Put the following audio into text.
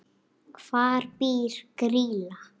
Hvar býr Grýla?